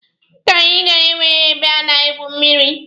Paaki anyị gara enweghị ebe a na-egwu mmịrị.